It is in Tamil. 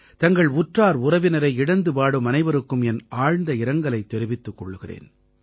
தங்கள் உற்றார் உறவினரை இழந்துவாடும் அனைவருக்கும் என் ஆழ்ந்த இரங்கலைத் தெரிவித்துக் கொள்கிறேன்